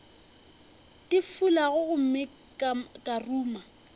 di fulago gomme ka ruma